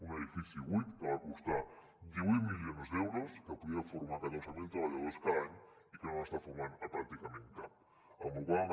un edifici buit que va costar divuit milions d’euros que podria formar catorze mil treballadors cada any i que no n’està formant pràcticament cap amb la qual cosa